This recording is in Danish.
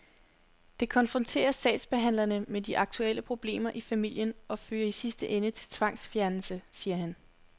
Det konfronterer sagsbehandlerne med de aktuelle problemer i familien og fører i sidste ende til tvangsfjernelse, siger han.